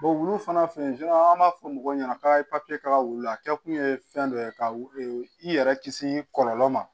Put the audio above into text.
wulu fana fɛ an b'a fɔ mɔgɔw ɲɛna k'a ye papiye k'a ka wulu a kɛ kun ye fɛn dɔ ye ka i yɛrɛ kisi kɔlɔlɔ ma